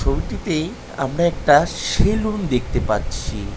ছবিটিতে আমরা একটা সেলুন দেখতে পাচ্ছি।